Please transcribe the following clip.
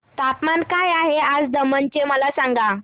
तापमान काय आहे आज दमण चे मला सांगा